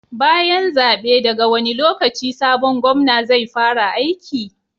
Bayan zabe daga wani lokaci sabon Gomna zai fara aiki?